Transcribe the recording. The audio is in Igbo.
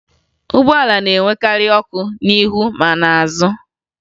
Ụgbọala na-enwekarị ọkụ n'ihu ma n'azụ ha